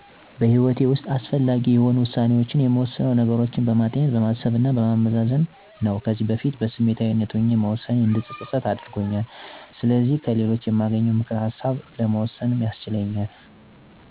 በህይወቴ ውሰጥ አስፈላጊ የሆኑ ውሳኔዎችን የምወስነው አንደኛ፦ ነገሮችን በማጤን፣ በማሰብ እና በማመዛዘን ምክኒያታዊ በመሆን ነው። ምክንያቱም በስሜት ወስኜ በውሳኔዬ መፀፀት አልፈልግም። ከዚህ በፊት በስሜታዊነት ሆኜ የወሰንኳቸው ዉሳኔዎቼ እንድፀፀት ስላደረጉኝ ከእንግዲህም ደግሞ ይሄንን ጥፋቴ መድገም ስለማልፈልግ ነው። ከሌሎች የማገኘውንም ምክር ውሳኔ ለመወሰን መንደርደሪያ ይሆንልኛል እንጂ ሙሉ በሙሉ በመተማመን ውሳኔዬን አልወሰንም ምክንያቱም ቀጥታ በሰዎች ምክር እምመራ ከሆነ የእራሴን ሀሳብ እና ፍላጎት ማሟላት አልችልም።